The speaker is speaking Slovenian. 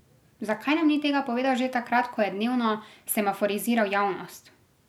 Zakaj nam ni tega povedal že takrat, ko je dnevno semaforiziral javnost?